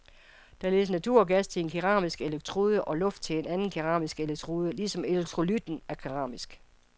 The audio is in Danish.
Der ledes naturgas til en keramisk elektrode og luft til en anden keramisk elektrode, ligesom elektrolytten er keramisk.